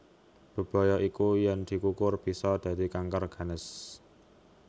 Bebaya iku yen dikukur bisa dadi kanker ganas